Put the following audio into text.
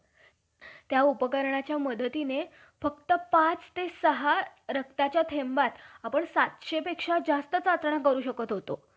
आणि आता मात्र त्यांच्या मूळ मातेस घाण~ घाण येईल म्हणून म्हणता के~ म्हणता हे कसे. तुम्ही इंग्रजी राज्यास हयाती चिंतून थोडे दिवस थांबा.